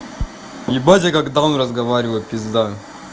ебать я как даун разговариваю пизда